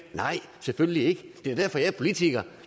nej selvfølgelig ikke det er derfor jeg er politiker